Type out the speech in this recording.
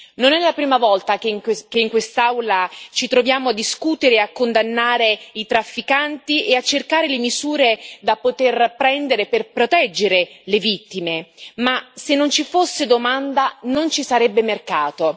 Non è la prima volta che in quest'Aula ci troviamo a discutere e a condannare i trafficanti e a cercare le misure da poter prendere per proteggere le vittime ma, se non ci fosse domanda, non ci sarebbe mercato.